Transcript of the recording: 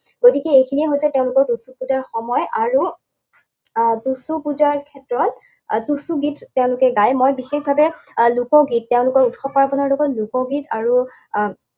গতিকে এইখিনিয়েই হৈছে তেওঁলোকৰ টুচু পূজা সময় আৰু টুচু পূজাৰ ক্ষেত্ৰত টুচু গীত তেওঁলোকে গায়। মই বিশেষভাৱে আহ লোকগীত, তেওঁলোকৰ উৎসৱ পাৰ্বণৰ লগৰ লোকগীত আৰু আহ